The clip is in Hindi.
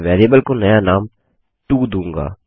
मैं वेरिएबल को नया नाम टो दूँगा